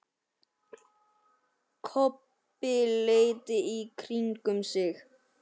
Kobbi leit í kringum sig.